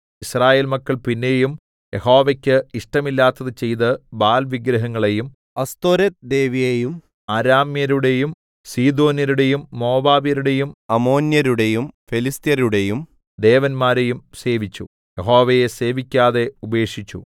യിസ്രായേൽ മക്കൾ പിന്നെയും യഹോവയ്ക്ക് ഇഷ്ടമില്ലാത്തത് ചെയ്തു ബാൽവിഗ്രഹങ്ങളെയും അസ്തോരെത്ത് ദേവിയേയും അരാമ്യരുടേയും സീദോന്യരുടേയും മോവാബ്യരുടേയും അമ്മോന്യരുടേയും ഫെലിസ്ത്യരുടേയും ദേവന്മാരെയും സേവിച്ചു യഹോവയെ സേവിക്കാതെ ഉപേക്ഷിച്ചു